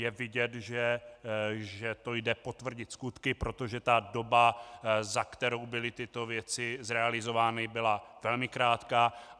Je vidět, že to jde potvrdit skutky, protože ta doba, za kterou byly tyto věci zrealizovány, byla velmi krátká.